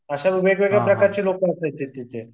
अशा वेगवेगळ्या प्रकारचे लोकं होते तिथे.